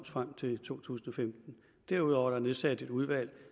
frem til to tusind og femten derudover er der nedsat et udvalg